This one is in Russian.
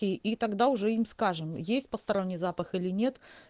и тогда уже им скажем есть посторонний запах или нет